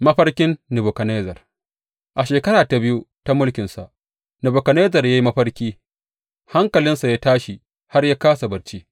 Mafarkin Nebukadnezzar A shekara ta biyu ta mulkinsa, Nebukadnezzar ya yi mafarkai; hankalinsa ya tashi har ya kāsa barci.